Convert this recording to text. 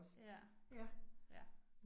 Ja, ja